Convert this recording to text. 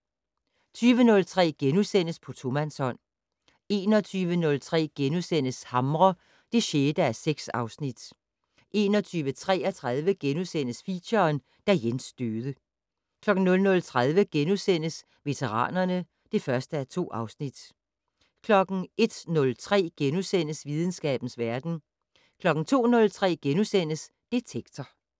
20:03: På tomandshånd * 21:03: Hamre (3:6)* 21:33: Feature: Da Jens døde * 00:30: Veteranerne (1:2)* 01:03: Videnskabens verden * 02:03: Detektor *